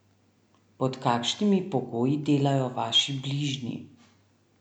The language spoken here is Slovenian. Pod kakšnimi pogoji delajo vaši bližnji?